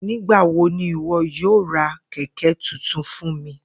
Nigbawo ni iwọ yoo ra kẹkẹ tuntun fun mi?